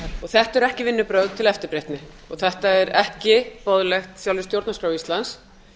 þetta eru ekki vinnubrögð til eftirbreytni og þetta er ekki boðlegt sjálfri stjórnarskrá íslands